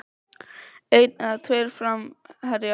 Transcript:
Einn eða tveir framherjar?